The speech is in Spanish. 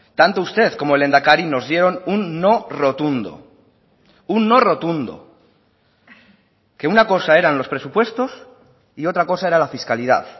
tanto usted como el lehendakari nos dieron un no rotundo un no rotundo que una cosa eran los presupuestos y otra cosa era la fiscalidad